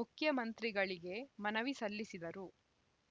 ಮುಖ್ಯಮಂತ್ರಿಗಳಿಗೆ ಮನವಿ ಸಲ್ಲಿಸಿದರು